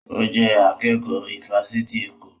Ó jẹ́ akẹ́kọ̀ọ́ ifásitì Èkó